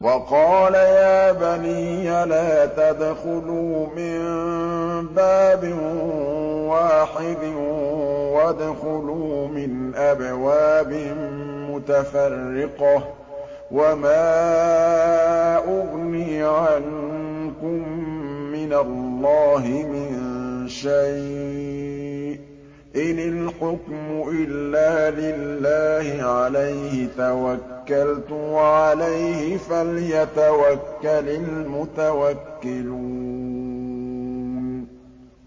وَقَالَ يَا بَنِيَّ لَا تَدْخُلُوا مِن بَابٍ وَاحِدٍ وَادْخُلُوا مِنْ أَبْوَابٍ مُّتَفَرِّقَةٍ ۖ وَمَا أُغْنِي عَنكُم مِّنَ اللَّهِ مِن شَيْءٍ ۖ إِنِ الْحُكْمُ إِلَّا لِلَّهِ ۖ عَلَيْهِ تَوَكَّلْتُ ۖ وَعَلَيْهِ فَلْيَتَوَكَّلِ الْمُتَوَكِّلُونَ